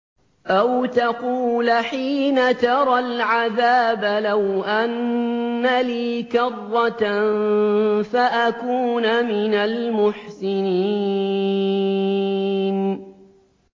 أَوْ تَقُولَ حِينَ تَرَى الْعَذَابَ لَوْ أَنَّ لِي كَرَّةً فَأَكُونَ مِنَ الْمُحْسِنِينَ